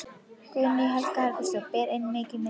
Guðný Helga Herbertsdóttir: Ber enn mikið í milli?